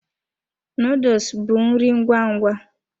Nuduls bụ nri ngwa ngwa.